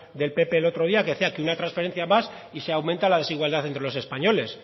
del pp el otro día que decía que una transferencia más y se aumenta la desigualdad entre los españoles